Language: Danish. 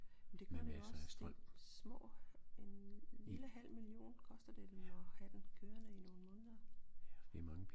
Men det gør det jo også det små en lille halv million koster det dem at have den kørende i nogle måneder